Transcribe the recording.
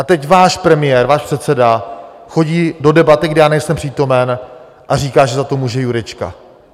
A teď váš premiér, váš předseda chodí do debaty, kde já nejsem přítomen, a říká, že za to může Jurečka.